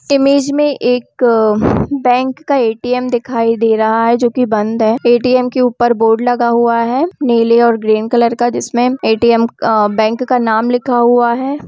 Image में एक अ बैंक का ए.टी.एम. दिखाई दे रहा है जो कि बंद है ए.टी.एम. के ऊपर बोर्ड लगा हुआ है नीले और ग्रीन कलर का जिसमें ए.टी.एम. अ बैंक का नाम लिखा हुआ है।